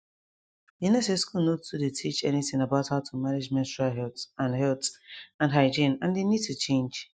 you know say school nor too dey teach anything about how to manage menstrual health and health and hygiene and they need to change